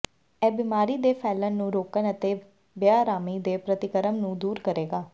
ਇਹ ਬਿਮਾਰੀ ਦੇ ਫੈਲਣ ਨੂੰ ਰੋਕਣ ਅਤੇ ਬੇਆਰਾਮੀ ਦੇ ਪ੍ਰਤੀਕਰਮ ਨੂੰ ਦੂਰ ਕਰੇਗਾ